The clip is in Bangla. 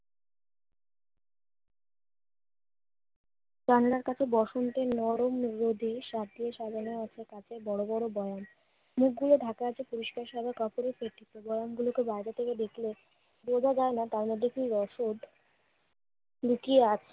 জানালার পাশে বসন্তের নরম রোদে সাড় দিয়ে সাজানো আছে কত বড় বড় দালান। মুখগুলো ঢাকা আছে পরিষ্কার ভালো করে দেখলে বোঝা যায় না তার মধ্যে কি রহস্য লুকিয়ে আছে?